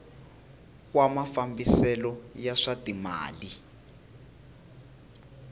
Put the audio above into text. wa mafambiselo ya swa timal